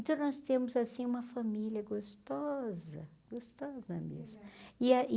Então nós temos assim uma família gostosa, gostosa mesmo. e aí